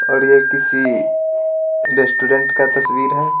और ये किसी रेस्टोरेंट का तस्वीर है।